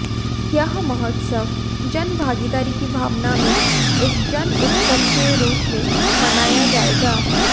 यह महोत्सव जन भागीदारी की भावना में एक जन उत्सव के रूप में मनाया जाएगा